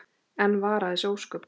Og enn vara þessi ósköp.